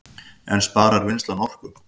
En sparar vinnslan orku